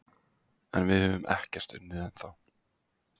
En við höfum ekkert unnið ennþá